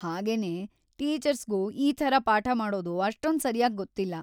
ಹಾಗೇನೇ, ಟೀಚರ್ಸ್‌ಗೂ ಈ ಥರ ಪಾಠ ಮಾಡೋದು ಅಷ್ಟೊಂದ್ ಸರ್ಯಾಗ್ ಗೊತ್ತಿಲ್ಲ.